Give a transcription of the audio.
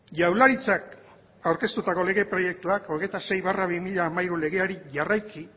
jaurlaritzak aurkeztutako lege proiektuak hogeita sei barra bi mila hamairu legeari jarraiki